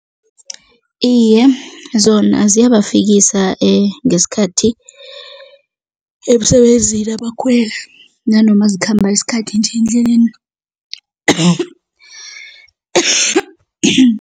Iye, zona ziyabafikisa ngesikhathi emsebenzini abakhweli nanoma zikhamba isikhathi nje endleleni